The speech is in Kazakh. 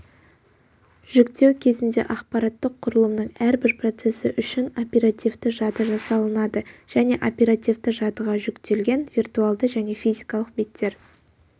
жүктеу кезінде ақпараттық құрылымның әрбір процесі үшін оперативті жады жасалынады және оперативті жадыға жүктелген виртуалды және физикалық беттер